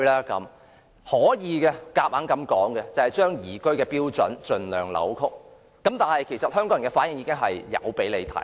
答案是強行把宜居的標準盡量扭曲，但香港人的反應已表達出來。